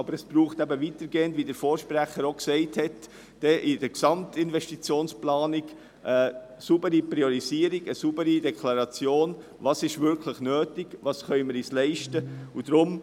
Aber wie schon ein Vorredner gesagt hat, braucht es auch in der Gesamtinvestitionsplanung eine saubere Priorisierung und eine Deklaration, was wirklich nötig ist und was wir uns leisten können.